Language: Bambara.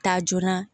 Ta joona